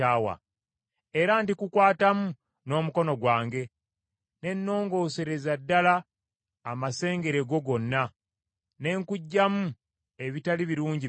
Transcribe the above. Era ndikukwatamu n’omukono gwange, ne nnoongoosereza ddala amasengere go gonna ne nkuggyamu ebitali birungi byonna.